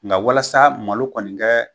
Nka walasa malo kɔni kɛ